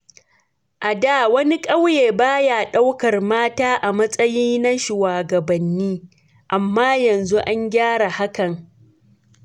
A da, wani ƙauye ba ya ɗaukar mata a matsayi na shugabanni, amma yanzu an gyara hakan.